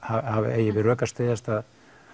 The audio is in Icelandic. eigi við rök að styðjast að